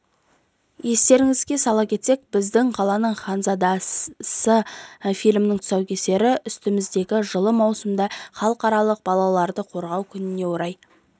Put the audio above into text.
естеріңізге сала кетсек біздің қаланың ханзадасы фильмінің тұсаукесері үстіміздегі жылы маусымда халықаралық балаларды қорғау күніне орай